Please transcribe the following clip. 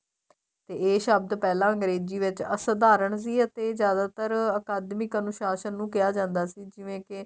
ਤੇ ਇਹ ਸ਼ਬਦ ਪਹਿਲਾਂ ਅੰਗਰੇਜੀ ਵਿੱਚ ਅਸਧਾਰਨ ਸੀ ਅਤੇ ਜਿਆਦਾਤਰ ਅਕਾਦਮੀ ਅਨੁਸ਼ਾਸਨ ਨੂੰ ਕਿਹਾ ਜਾਂਦਾ ਸੀ ਜਿਵੇਂ ਕੇ